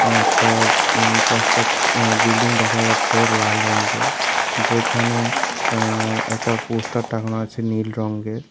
একটা উম কস্টাক্স আঃ বিল্ডিং দেখা যাচ্ছে লাল রঙ্গের যেখানে আঃ একটা পোস্টার টাঙানো আছে নীল রঙ্গের ।